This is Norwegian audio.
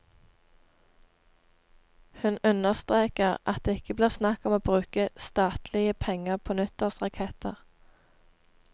Hun understreker at det ikke blir snakk om å bruke statlige penger på nyttårsraketter.